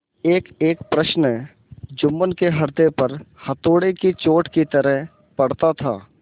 एकएक प्रश्न जुम्मन के हृदय पर हथौड़े की चोट की तरह पड़ता था